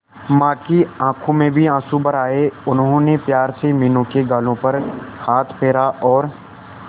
मां की आंखों में भी आंसू भर आए उन्होंने प्यार से मीनू के गालों पर हाथ फेरा और